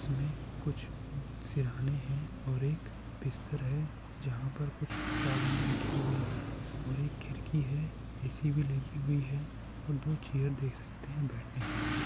इसमे कुछ सिरहाने है और एक बिस्तर है। जहा पर कुछ चाबिया रही हुई है और एक खिड़की है। ए_सी भी लगी हुई है और दो चेयर देख सकते है बेठने के लिए।